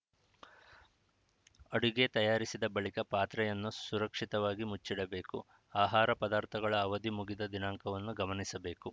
ಅಡುಗೆ ತಯಾರಿಸಿದ ಬಳಿಕ ಪಾತ್ರೆಯನ್ನು ಸುರಕ್ಷಿತವಾಗಿ ಮುಚ್ಚಿಡಬೇಕು ಆಹಾರ ಪದಾರ್ಥಗಳ ಅವಧಿ ಮುಗಿದ ದಿನಾಂಕವನ್ನು ಗಮನಿಸಬೇಕು